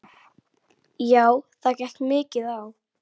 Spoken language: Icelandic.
Já það gekk mikið á.